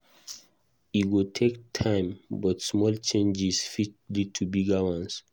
E go take time, but small changes fit lead to bigger ones.